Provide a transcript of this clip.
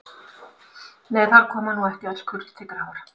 Nei, þar koma nú ekki öll kurl til grafar.